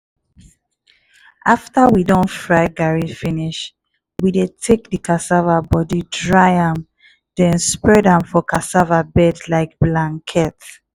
after we don fry garri finish we dey take the cassava body dry am then spread am for cassava bed like blanket.